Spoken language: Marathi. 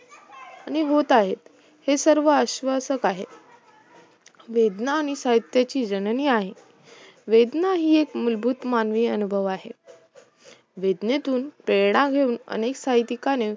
आणि होत आहेत हे सर्व आश्वासक आहे वेदना ही साहित्याची जननी आहे वेदना ही एक मूलभूत मानवी अनुभव आहे वेदनेतून प्रेरणा घेऊन अनेक साहित्यिकांनी